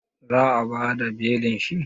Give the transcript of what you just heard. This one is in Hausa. Za a bada belin shi?